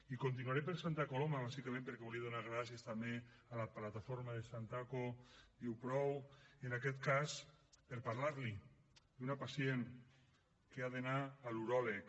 i continuaré per santa coloma bàsicament també perquè volia donar gràcies també a la plataforma de santako diu prou en aquest cas per parlar li d’una pacient que ha d’anar a l’uròleg